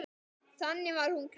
Þannig var hún Gréta.